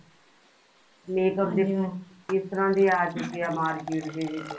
makeup ਹੁਣ ਕਿਸ ਤਰ੍ਹਾਂ ਦੇ ਆ ਚੁੱਕੇ ਨੇ market ਦੇ ਵਿੱਚ